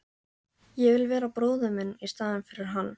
Ég vil vera bróðir minn í staðinn fyrir hann.